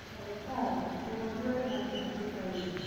Ndagĩtarĩ...., mũrwaru arĩ handũ hatĩkainĩ...